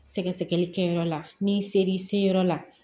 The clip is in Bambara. Sɛgɛsɛgɛli kɛyɔrɔ la ni ser'i se yɔrɔ la